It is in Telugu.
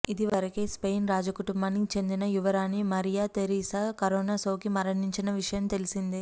ఇది వరకే స్పెయిన్ రాజకుటుంబానికి చెందిన యువరాణి మరియా థెరిసా కరోనా సోకి మరణించిన విషయం తెలిసిందే